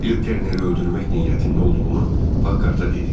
Bill Terneri öldürmək niyyətində olduğunu Pakharta dedi.